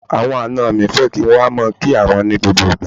Àwọn àna mi fẹ́ kí n wá máa kí wọn ní gbogbo ìgbà.